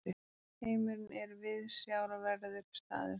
Heimurinn er viðsjárverður staður.